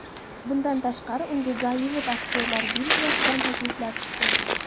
Bundan tashqari, unga Gollivud Aktyorlar gildiyasidan takliflar tushgan.